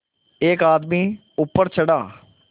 एक आदमी ऊपर चढ़ा